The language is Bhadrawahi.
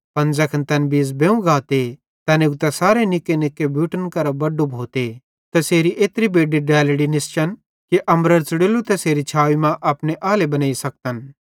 पन ज़ैखन तैन बीज़ बेव गाते तै उगतां सारे निक्केनिक्के बुट्टन केरां बड्डो भोते तैसेरी एत्री बेड्डी डेलड़ी निस्चन कि अम्बरेरां च़ुड़ोल्ली तैसेरी छावी मां अपने आले बनेइ सकतन